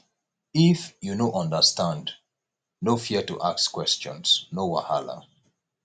if you no understand no fear to ask questions no wahala